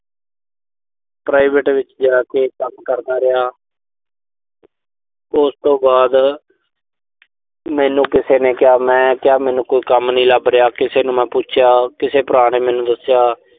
private ਵਿੱਚ ਜਾ ਕੇ ਕੰਮ ਕਰਦਾ ਰਿਹਾ। ਤੇ ਉਸ ਤੋਂ ਬਾਅਦ ਮੈਨੂੰ ਕਿਸੇ ਨੇ ਕਿਹਾ, ਮੈਂ ਕਿਹਾ ਮੈਨੂੰ ਕੋਈ ਕੰਮ ਨੀਂ ਲੱਭ ਰਿਹਾ। ਕਿਸੇ ਨੂੰ ਮੈਂ ਪੁੱਛਿਆ, ਕਿਸੇ ਭਰਾ ਨੇ ਮੈਨੂੰ ਦੱਸਿਆ।